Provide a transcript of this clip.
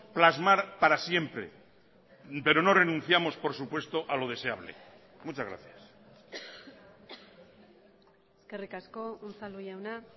plasmar para siempre pero no renunciamos por supuesto a lo deseable muchas gracias eskerrik asko unzalu jauna